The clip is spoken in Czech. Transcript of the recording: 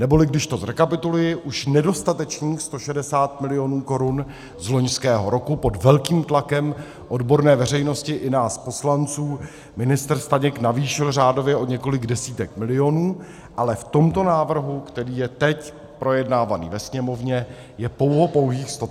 Neboli když to zrekapituluji, už nedostatečných 160 milionů korun z loňského roku pod velkým tlakem odborné veřejnosti i nás poslanců ministr Staněk navýšil řádově o několik desítek milionů, ale v tomto návrhu, který je teď projednáván ve Sněmovně, je pouhopouhých 130 milionů.